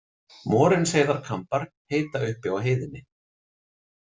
Morinsheiðarkambar heita uppi á heiðinni.